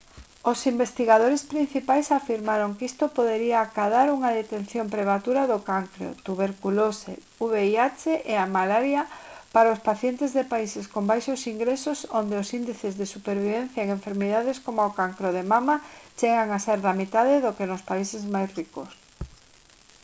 os investigadores principais afirmaron que isto podería acadar unha detección prematura do cancro tuberculose vih e a malaria para os pacientes de países con baixos ingresos onde os índices de supervivencia en enfermidades como o cancro de mama chegan a ser da metade do que nos países máis ricos